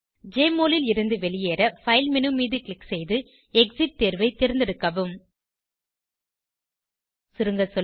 JMOL ல் இருந்து வெளியேற பைல் மேனு மீது க்ளிக் செய்து எக்ஸிட் தேர்வை தேர்ந்தெடுக்கவும் சுருங்க சொல்ல